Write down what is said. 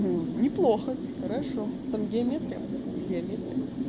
не неплохо хорошо там геометрия по геометрия